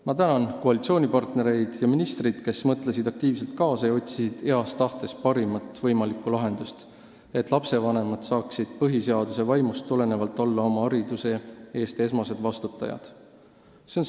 Ma tänan koalitsioonipartnereid ja ministrit, kes mõtlesid aktiivselt kaasa ja otsisid heas tahtes parimat võimalikku lahendust, et lastevanemad saaksid põhiseaduse vaimust tulenevalt olla esmased vastutajad oma laste hariduse eest.